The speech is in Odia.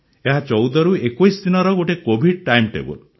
ଏହା ୧୪ରୁ ୨୧ ଦିନର ଗୋଟିଏ କୋଭିଡ ଟାଇମଟେବୁଲ